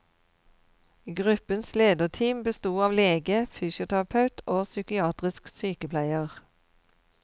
Gruppens lederteam besto av lege, fysioterapeut og psykiatrisk sykepleier.